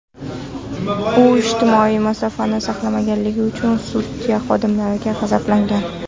U ijtimoiy masofani saqlamaganligi uchun studiya xodimaridan g‘azablangan.